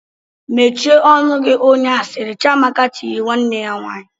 "Mechie ọnụ onye asịrị!" Chiamaka tiri nwanne ya nwaanyị.